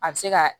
A bɛ se ka